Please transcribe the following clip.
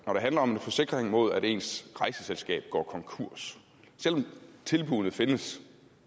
når det handler om forsikring mod at ens rejseselskab går konkurs selv om tilbuddene findes